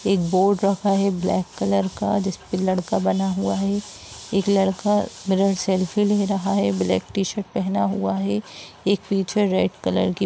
एक बोर्ड रखा हुआ है ब्लैक कलर का जिसपे लड़का बना हुआ है। एक लड़का मिरर सेल्फी ले रहा है ब्लैक टी शर्ट पहना हुआ है एक पीछे रेड कलर की--